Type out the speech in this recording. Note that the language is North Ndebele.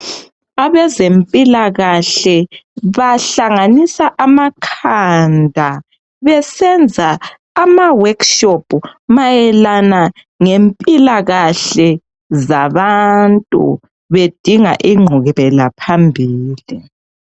Abezempilakahle bahlanganisa amakhanda besenza ama workshop mayelana ngempilakahle zabantu bedinga ingqubela phambili